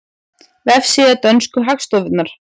Vefsíða dönsku hagstofunnar